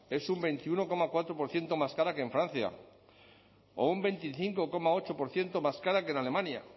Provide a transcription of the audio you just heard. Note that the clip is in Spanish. es un veintiuno coma cuatro por ciento más cara que en francia o un veinticinco coma ocho por ciento más cara que en alemania